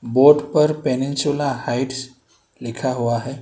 Board पर Peninsula Heights लिखा हुआ है।